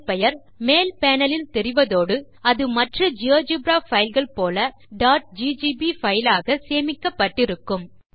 file பெயர் மேல் panel இல் தெரிவதோடு அது மற்ற ஜியோஜெப்ரா பைல் கள் போல ggb பைல் ஆக சேமிக்கப்பட்டிருக்கும்